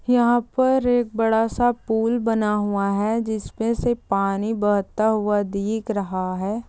यहाँ पर एक बड़ा सा पूल बना हुआ है जिसमे से पानी बहता हुआ दिख रहा है।